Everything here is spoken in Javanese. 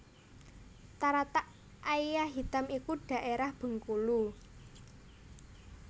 Taratak Aia Hitam iku dhaérah Bengkulu